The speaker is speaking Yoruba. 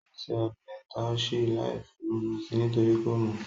Ó se ọbẹ̀ taushe láìfi úgú sí nítorí kò mọ̀